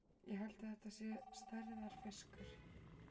Ég held þetta sé stærðarfiskur!